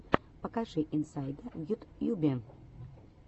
покажи инсайда в ютьюбе